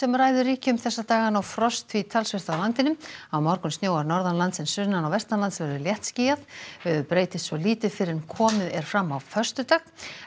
ræður ríkjum þessa dagana og frost því talsvert á landinu á morgun snjóar norðanlands en sunnan og vestanlands verður léttskýjað veður breytist svo lítið fyrr en komið er fram á föstudag